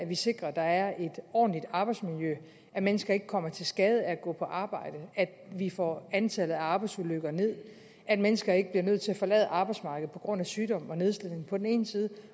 vi sikrer at der er et ordentligt arbejdsmiljø at mennesker ikke kommer til skade af at gå på arbejde at vi får antallet af arbejdsulykker ned at mennesker ikke bliver nødt til at forlade arbejdsmarkedet på grund af sygdom og nedslidning på den ene side